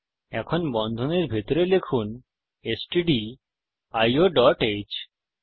এখন বন্ধনীর ভিতরে লিখুন স্টডিও ডট হ্